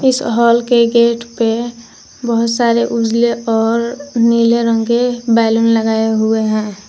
इस हाल के गेट पे बहोत सारे उजले और नीले रंग के बैलून लगाए हुए हैं।